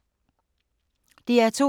DR2